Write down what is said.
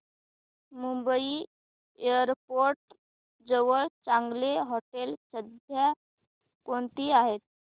Mumbai airport जवळ चांगली हॉटेलं सध्या कोणती आहेत